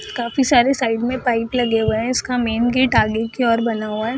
काफी सारे साइड में पाइप लगे हुए है इसका मैन गेट आगे की ओर बना हुआ है।